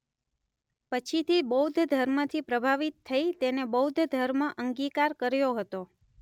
પછીથી બૌદ્ધ ધર્મથી પ્રભાવિત થઇ તેને બૌદ્ધ ધર્મ અંગિકાર કર્યો હતો.